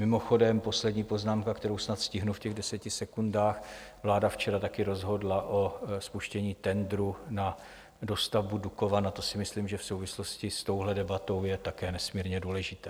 Mimochodem, poslední poznámka, kterou snad stihnu v těch deseti sekundách: vláda včera také rozhodla o spuštění tendru na dostavbu Dukovan, a to si myslím, že v souvislosti s touhle debatou je také nesmírně důležité.